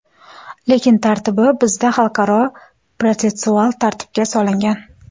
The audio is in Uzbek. Lekin tartibi bizda xalqaro protsessual tartibga solingan.